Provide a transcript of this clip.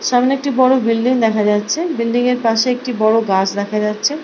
সামনে একটি বড় বিল্ডিং দেখা যাচ্ছে বিল্ডিং - এর পাশে একটি বড় গাছ দেখা যাচ্ছে ।